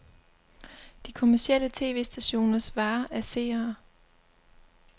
De kommercielle tv-stationers vare er seere.